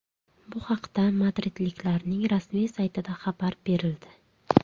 Bu haqda madridliklarning rasmiy saytida xabar berildi .